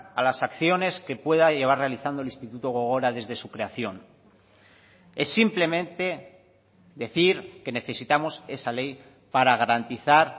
a las acciones que pueda llevar realizando el instituto gogora desde su creación es simplemente decir que necesitamos esa ley para garantizar